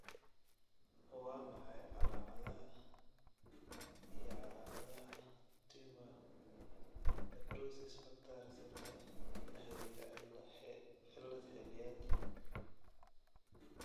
Waa maxay calaamadaha iyo calaamadaha Tumor necrosis factor reseptor la xidhiidha cillad xilliyeed?